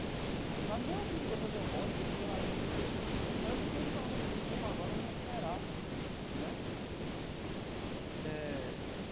Sabe mesmo que depois eu volte e profissionalize um público, eu preciso pelo menos esse tempo agora para me recuperar né eh.